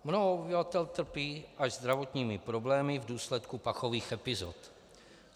Mnoho obyvatel trpí až zdravotními problémy v důsledku pachových epizod.